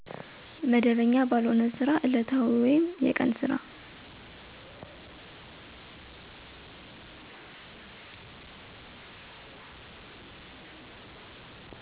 መደበኛ ባልሆነ ስራ እለታዊ ወይም የቀን ስራ